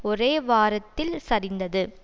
ஒரே வாரத்தில் சரிந்தது